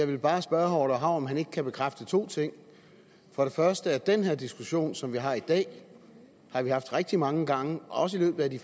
vil bare spørge herre orla hav om han ikke kan bekræfte to ting for det første den her diskussion som vi har i dag har vi haft rigtig mange gange også i løbet af de